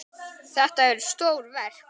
Þetta eru stór verk.